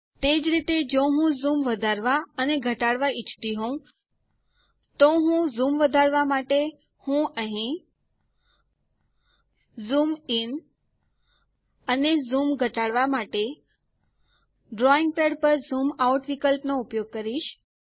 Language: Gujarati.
તે જ રીતે જો હું ઝૂમ વધારવા અને ઘટાડવા ઈચ્છતી હોઉં તો ઝૂમ વધારવા માટે હું અહીં ઝૂમ ઇન અને ઝૂમ ઘટાડવા માટે ડ્રોઈંગ પેડ પર ઝૂમ આઉટ વિકલ્પ નો ઉપયોગ કરીશ